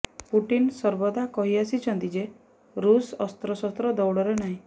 Putin ସର୍ବଦା କହି ଆସିଛନ୍ତି ଯେ ରୁଷ ଅସ୍ତ୍ର ଶସ୍ତ୍ର ଦୌଡରେ ନାହିଁ